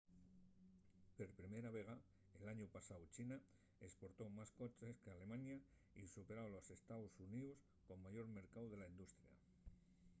per primera vegada l'añu pasáu china esportó más coches qu'alemaña y superó a los ee.xx como mayor mercáu de la industria